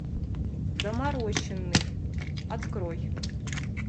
доморощенный открой